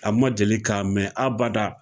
A ma deli k'a mɛ abada.